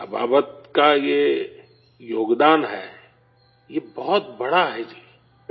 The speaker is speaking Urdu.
ابابت کا یہ تعاون ہے، یہ بہت بڑا ہے جی